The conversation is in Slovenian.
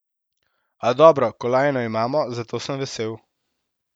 A dobro, kolajno imam, zato sem vesel.